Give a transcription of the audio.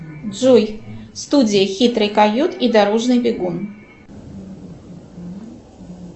джой студия хитрый койот и дорожный бегун